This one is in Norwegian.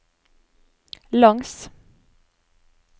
langs